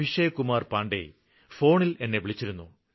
അഭിഷേക് കുമാര് പാണ്ഡെ ഫോണില് എന്നെ വിളിച്ചിരുന്നു